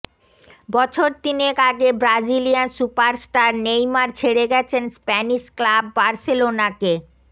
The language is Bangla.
বছর তিনেক আগে ব্রাজিলিয়ান সুপারস্টার নেইমার ছেড়ে গেছেন স্প্যানিশ ক্লাব বার্সেলোনাকে